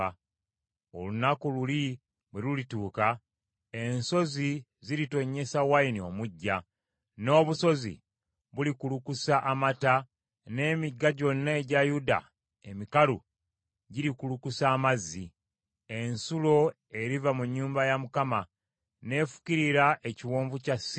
“Olunaku luli bwe lulituuka, ensozi ziritonnyesa wayini omuggya, n’obusozi bulikulukusa amata, n’emigga gyonna egya Yuda emikalu girikulukusa amazzi. Ensulo eriva mu nnyumba ya Mukama n’efukirira ekiwonvu kya Sittimu.